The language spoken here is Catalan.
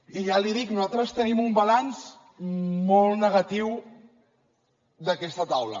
i ja li dic nosaltres tenim un balanç molt negatiu d’aquesta taula